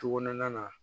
Tukɔnɔnana na